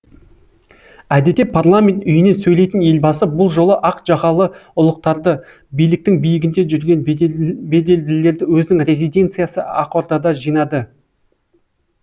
әдетте парламент үйінен сөйлейтін елбасы бұл жолы ақ жағалы ұлықтарды биліктің биігінде жүрген беделділерді өзінің резиденциясы ақордада жинады